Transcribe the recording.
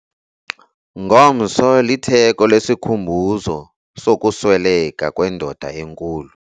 Ngomso litheko lesikhumbuzo sokusweleka kwendoda enkulu.